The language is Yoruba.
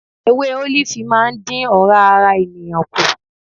Ewé ólífì máa ń dín ora ara ènìyàn kù.